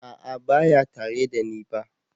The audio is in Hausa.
A'a baya tare da ni ba.